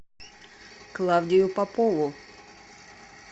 клавдию попову